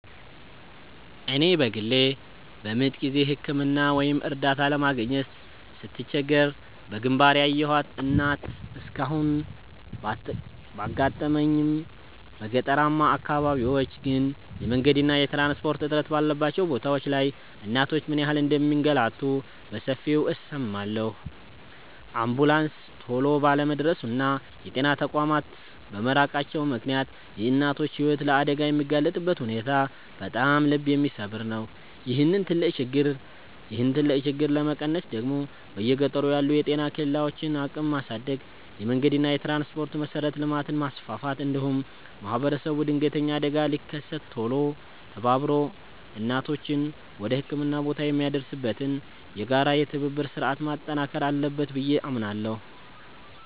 እኔ በግሌ በምጥ ጊዜ ሕክምና ወይም እርዳታ ለማግኘት ስትቸገር በግንባር ያየኋት እናት እስካሁን ባታጋጥመኝም፣ በገጠራማ አካባቢዎች ግን የመንገድና የትራንስፖርት እጥረት ባለባቸው ቦታዎች ላይ እናቶች ምን ያህል እንደሚንገላቱ በሰፊው እሰማለሁ። አምቡላንስ ቶሎ ባለመድረሱና የጤና ተቋማት በመራቃቸው ምክንያት የእናቶች ሕይወት ለአደጋ የሚጋለጥበት ሁኔታ በጣም ልብ የሚሰብር ነው። ይህንን ትልቅ ችግር ለመቀነስ ደግሞ በየገጠሩ ያሉ የጤና ኬላዎችን አቅም ማሳደግ፣ የመንገድና የትራንስፖርት መሠረተ ልማትን ማስፋፋት፣ እንዲሁም ማኅበረሰቡ ድንገተኛ አደጋ ሲከሰት ቶሎ ተባብሮ እናቶችን ወደ ሕክምና ቦታ የሚያደርስበትን የጋራ የትብብር ሥርዓት ማጠናከር አለበት ብዬ አምናለሁ።